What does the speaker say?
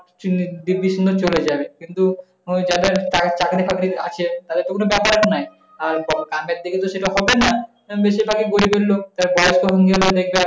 চলে যাবে কিন্তু, যাদের চাকরি-ফাকরি আছে তাতে তো কোন ব্যাপারই নয়। আর গ~ গ্রামের দিকে তো সেটা হবে না। বেশিরভাগি গরিবের লোক।